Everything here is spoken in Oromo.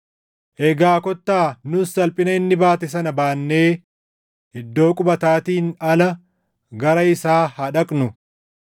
Egaa kottaa nus salphina inni baate sana baannee iddoo qubataatiin ala gara isaa haa dhaqnu.